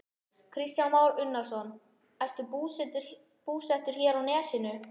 Kristján Már Unnarsson: Ertu búsettur hér á Nesinu?